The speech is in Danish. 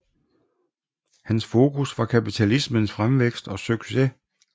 Hans fokus var kapitalismens fremvækst og succes